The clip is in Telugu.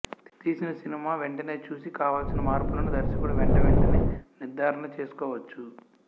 తీసిన సినిమా వెంటనే చూసి కావలసిన మార్పులను దర్శకుడు వెంటవెంటనే నిర్ధారణ చేసుకోవచ్చు